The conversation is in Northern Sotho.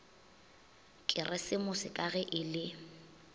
keresemose ka ge e le